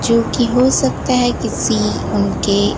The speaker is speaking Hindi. जो कि हो सकता है किसी उनके--